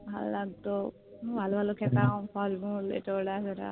ভাল লাগত হম ভালো ভালো খেতাম ফল মূল ওটা সেটা